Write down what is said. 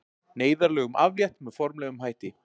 Neyðarlögum aflétt með formlegum hætti